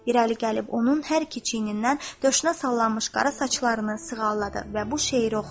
İrəli gəlib onun hər iki çiynindən döşünə sallanmış qara saçlarını sığalladı və bu şeiri oxudu: